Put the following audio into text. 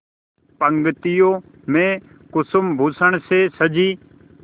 पंक्तियों में कुसुमभूषण से सजी